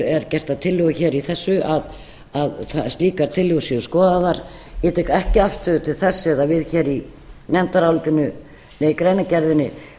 er gert að tillögu í þessu að slíkar tillögur séu skoðaðar ég tek ekki afstöðu til þess eða við hér í greinargerðinni